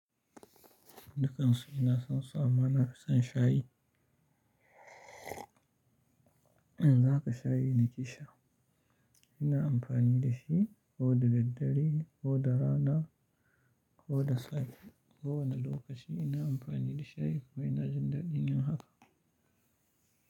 Dukansu ina son su, amana, ina son shayi. Yanzu haka shayi, ni ke sha. Ina amfani da shi ko da daddare, ko da rana, ko da safe, kowane lokaci ina amfani da shayi kuma ina jin daɗin yin haka.